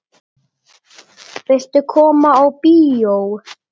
Viltu koma á bíó?